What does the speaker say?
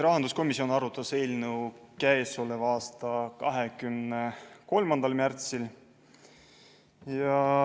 Rahanduskomisjon arutas eelnõu k.a 23. märtsil.